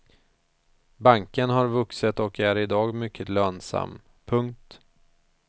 Banken har vuxit och är i dag mycket lönsam. punkt